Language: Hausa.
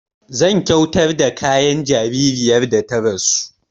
Zan kyautar da kayan jaririyar da ta rasu